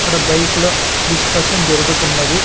అక్కడ బైకు ల డిస్కషన్ జరుగుతున్నది.